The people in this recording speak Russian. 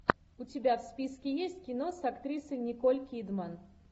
у тебя в списке есть кино с актрисой николь кидман